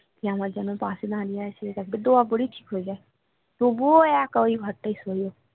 কে আমার যেন পাশে দাঁড়িয়ে আছে তারপরে দোয়া পড়ি ঠিক হয়ে যায় তবুও একা ওই ঘর টায় শোয় ও